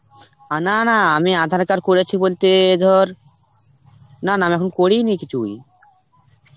আ না, না, আমি aadhar card করেছি বলতে ধর না না আমি এখন করিই নি কিছুই